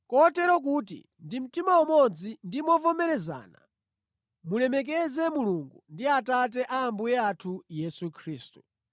kotero kuti ndi mtima umodzi ndi movomerezana mulemekeze Mulungu ndi Atate a Ambuye athu Yesu Khristu.